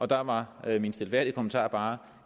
der var min stilfærdige kommentar bare